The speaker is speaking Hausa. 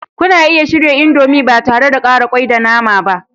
Kuna iya shirya indomie ba tare da ƙara kwai da nama ba.